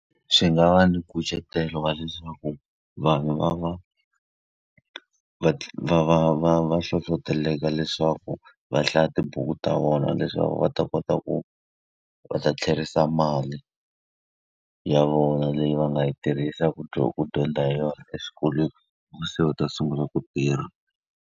Swi nga va na nkucetelo wa leswaku vanhu va va va va va va va hlohleteleka leswaku va hlaya tibuku ta vona leswaku va u ta kota ku va ta tlherisa mali ya vona leyi va nga yi tirhisa ku ku dyondza hi yona eswikolweni hikuva se va ta sungula ku tirha.